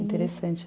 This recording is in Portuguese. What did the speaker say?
Interessante.